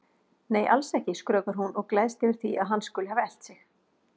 Nei, alls ekki, skrökvar hún og gleðst yfir því að hann skuli hafa elt sig.